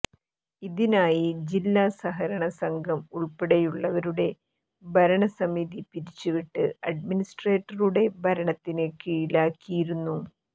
ഇതിനായി ജില്ലാ സഹകരണ സംഘം ഉള്പ്പെടെയുള്ളവയുടെ ഭരണസമിതി പിരിച്ചുവിട്ട് അഡ്മിനിസ്ട്രേറ്ററുടെ ഭരണത്തിന് കീഴിലാക്കിയിരുന്നു